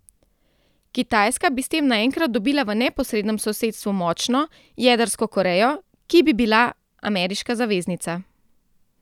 Kitajska bi s tem naenkrat dobila v neposrednem sosedstvu močno, jedrsko Korejo, ki bi bila ameriška zaveznica.